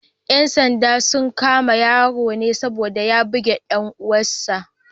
‘Yan sandan sun kama yaron ne saboda ya bugi ‘yar uwar sa.